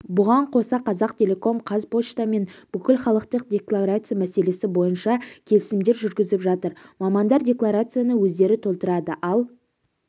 бұған қоса қазақтелеком қазпоштамен бүкілхалықтық декларация мәселесі бойынша келісімдер жүргізіп жатыр мамандар декларацияны өздері толтырады ал